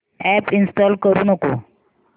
app install करू नको